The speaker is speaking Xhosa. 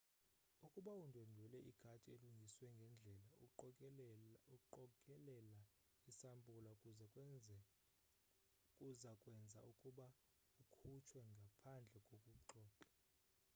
ukuba undwendwela igadi elungiswe ngendlela uqokelela isampula kuza kwenza ukuba ukhutshwe ngaphandle kokuxoxa